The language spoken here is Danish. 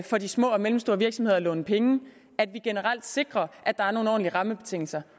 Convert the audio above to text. for de små og mellemstore virksomheder at låne penge at vi generelt sikrer at der er nogle ordentlige rammebetingelser